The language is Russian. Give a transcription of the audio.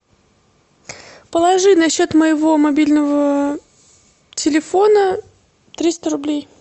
положи на счет моего мобильного телефона триста рублей